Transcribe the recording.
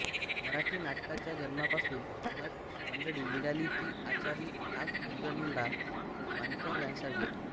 मराठी नाटकाच्या जन्मापासून नट मंडळी मिळाली ती आचारी ताक घुसळणारा पाणक्या यांसारखी